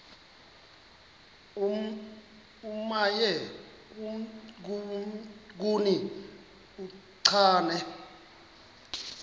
omnye kuni uchane